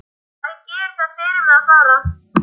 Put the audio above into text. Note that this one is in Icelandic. Æ, gerið það fyrir mig að fara.